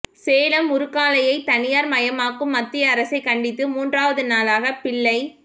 சேலம் உருக்காலையை தனியார் மயமாக்கும் மத்திய அரசைக் கண்டித்து மூன்றாவது நாளாக பிள்ளைக்